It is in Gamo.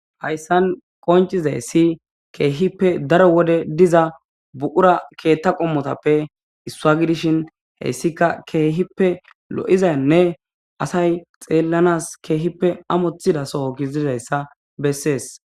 Hayssan qoncizaysi kehipe daro wode diza buqura keththa qommotape issuwa gidishin heyssika kehipe lo'izane asay xellanas kehipe amotizaso gididaysa besesi.